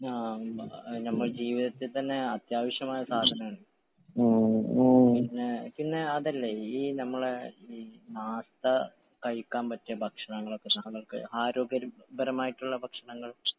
ആഹ് നമ്മുടെ ജീവിതത്തിൽ തന്നെ അത്യാവശ്യമായ സാധനമാണ്.. പിന്നെ പിന്നെ അതല്ലാ ഈ നമ്മളെ ഈ നാട്ടാ കഴിക്കാൻ പറ്റിയ ഭക്ഷണങ്ങളൊക്കെ നമുക്ക് ആരോഗ്യകരമായിട്ടുള്ള ഭക്ഷണങ്ങൾ.